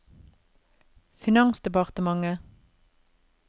finansdepartementet